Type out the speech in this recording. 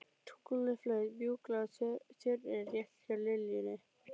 Tunglið flaut mjúklega á Tjörninni rétt hjá liljunni.